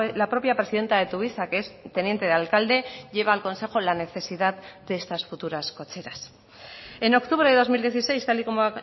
la propia presidenta de tuvisa que es teniente de alcalde lleva al consejo la necesidad de estas futuras cocheras en octubre de dos mil dieciséis tal y como